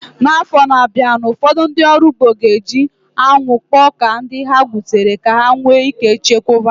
N'afọ na-abịa, ụfọdụ ndị ọrụ ugbo ga-eji anwụ kpọọ ọka ndị ha gbutere ka ha wee chekwaa ya